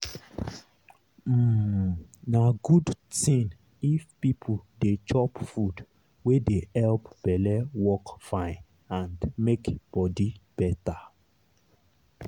um na good thing if people dey chop food wey dey help belle work fine and make body better.